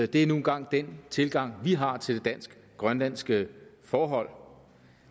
det er nu engang den tilgang vi har til det dansk grønlandske forhold